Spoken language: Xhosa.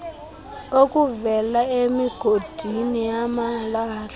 okuvela emigodini yamalahle